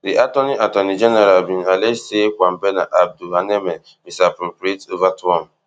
di attorney attorney general bin allege say kwabena aduboahene misappropriate ova twom